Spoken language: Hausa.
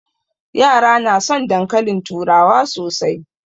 Yara na son dankalin turawa sosai